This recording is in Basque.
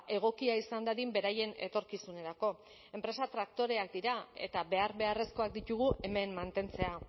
egokia izan dadin beraien etorkizunerako enpresa traktoreak dira eta behar beharrezkoak ditugu hemen mantentzea